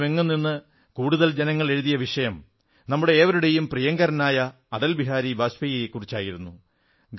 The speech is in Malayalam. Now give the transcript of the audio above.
രാജ്യമെങ്ങും നിന്ന് കൂടുതൽ ജനങ്ങൾ എഴുതിയ വിഷയം നമ്മുടെ ഏവരുടെയും പ്രിയങ്കരനായ അടൽ ബിഹാരി വാജ്പേയി ആയിരുന്നു